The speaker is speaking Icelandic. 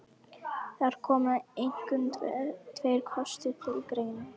Þar koma einkum tveir kostir til greina.